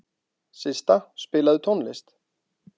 Systa, spilaðu tónlist.